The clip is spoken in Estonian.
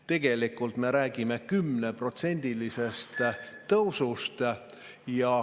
Tegelikult me räägime 10%‑lisest tõusust.